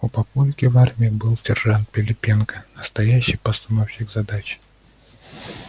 у папульки в армии был сержант пилипенко настоящий постановщик задач